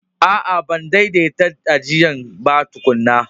A'a, ban daidanta ajian ba tukunna.